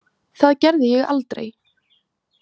Það gerði ég aldrei.